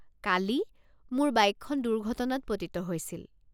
কালি, মোৰ বাইকখন দুৰ্ঘটনাত পতিত হৈছিল।